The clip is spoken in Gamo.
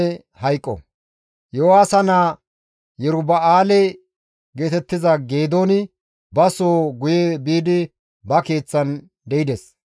Iyo7aasa naa Yeruba7aale geetettiza Geedooni ba soo guye biidi ba keeththan de7ides.